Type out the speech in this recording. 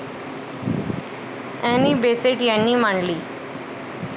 Annie Besant यांनी मांडली.